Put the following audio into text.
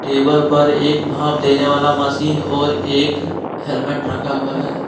Table पर एक भाफ देने वाला मशीन और एक हेलमेट रखा हुआ है।